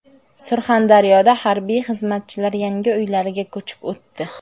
Surxondaryoda harbiy xizmatchilar yangi uylarga ko‘chib o‘tdi.